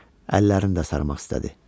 Əllərini də sarımaq istədi.